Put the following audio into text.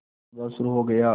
मुकदमा शुरु हो गया